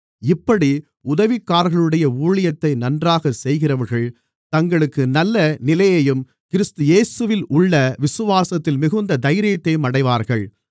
இப்படி உதவிக்காரர்களுடைய ஊழியத்தை நன்றாகச் செய்கிறவர்கள் தங்களுக்கு நல்ல நிலையையும் கிறிஸ்து இயேசுவில் உள்ள விசுவாசத்தில் மிகுந்த தைரியத்தையும் அடைவார்கள்